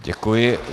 Děkuji.